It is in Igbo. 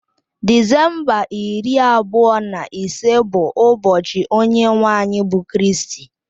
Disemba iri abụọ na ise bụ ụbọchị onye nwe anyị bụ Kristi